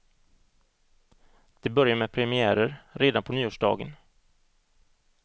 Det börjar med premiärer redan på nyårsdagen.